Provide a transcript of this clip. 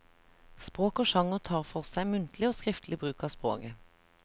Språk og sjanger tar for seg muntlig og skriftlig bruk av språket.